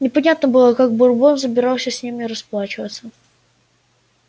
непонятно было как бурбон собирался с ними расплачиваться